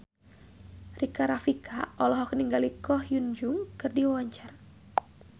Rika Rafika olohok ningali Ko Hyun Jung keur diwawancara